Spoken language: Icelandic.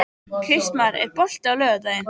Kristmar, er bolti á laugardaginn?